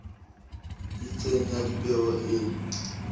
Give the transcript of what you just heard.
e itseng ya dipeo e